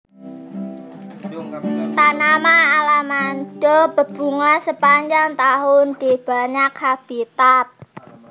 Tanaman alamanda berbunga sepanjang tahun di banyak habitat